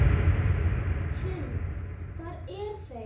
Hrund: Hvar eru þeir?